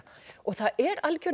og það er